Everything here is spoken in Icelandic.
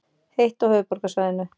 Heitt á höfuðborgarsvæðinu